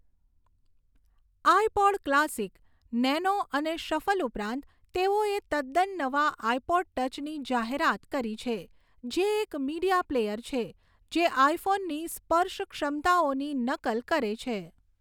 IPod classic, nano અને shuffle ઉપરાંત, તેઓએ તદ્દન નવા આઇપોડ ટચની જાહેરાત કરી છે, જે એક મીડિયા પ્લેયર છે જે આઇફોનની સ્પર્શ ક્ષમતાઓની નકલ કરે છે.